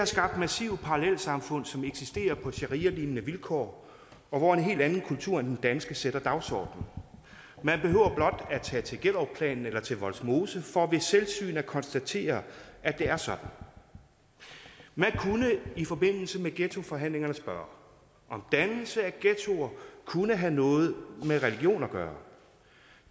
skabt massive parallelsamfund som eksisterer på sharialignende vilkår og hvor en helt anden kultur end den danske sætter dagsordenen man behøver blot at tage til gellerupplanen eller til vollsmose for ved selvsyn at konstatere at det er sådan man kunne i forbindelse med ghettoforhandlingerne spørge om dannelse af ghettoer kunne have noget med religion at gøre